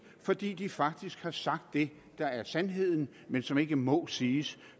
fordi de faktisk har sagt det der er sandheden men som ikke må siges